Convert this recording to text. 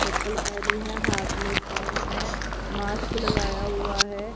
चप्पल पहनी है हाथ मे फोन है मास्क लगाया हुआ है।